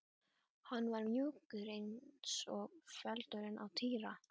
Hann var mjúkur eins og feldurinn á Týra.